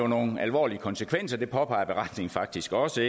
nogle alvorlige konsekvenser det påpeger beretningen faktisk også